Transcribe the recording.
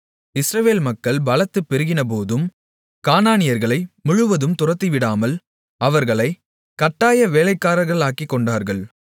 இஸ்ரவேல் மக்கள் பலத்து பெருகினபோதும் கானானியர்களை முழுவதும் துரத்திவிடாமல் அவர்களைக் கட்டாய வேலைக்காரர்களாக்கிக்கொண்டார்கள்